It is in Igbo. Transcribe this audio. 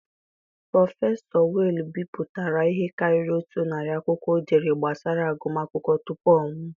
Prọfesọ Wale bipụtara ihe karịrị otu narị akwụkwọ o dere gbasara agụm akwụkwọ tupu ọ nwụọ.